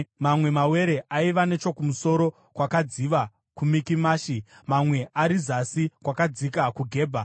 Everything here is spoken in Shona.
Mamwe mawere aiva nechokumusoro kwakadziva kuMikimashi, mamwe ari zasi kwakadziva kuGebha.